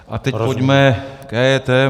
A teď pojďme k EET.